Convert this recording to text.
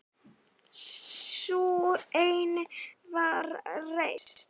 Sú seinni var reist